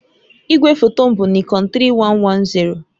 Igwefoto m bụ Nikon 3110